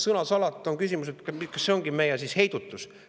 Aga on küsimus, kas see ongi siis meie heidutus.